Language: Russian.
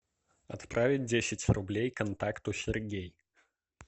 отправить десять рублей контакту сергей